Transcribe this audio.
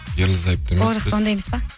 ерлі зайыпты емеспіз ол жақта оңдай емес па